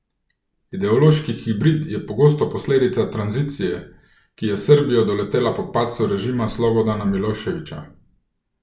Ideološki hibrid je pogosto posledica tranzicije, ki je Srbijo doletela po padcu režima Slobodana Miloševića.